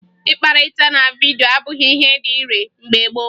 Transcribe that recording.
Ịkpakọrịta na vidyo abụghị ihe dị ire mgbe gboo